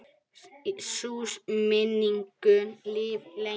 Sú minning mun lifa lengi.